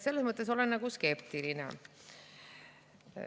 Selles mõttes olen skeptiline.